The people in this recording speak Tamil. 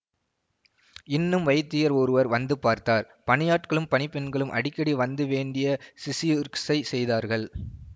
இன்னும் வைத்தியர் ஒருவர் வந்து பார்த்தார் பணியாட்களும் பணிப்பெண்களும் அடிக்கடி வந்து வேண்டிய சிசிஊர்ஷை செய்தார்கள்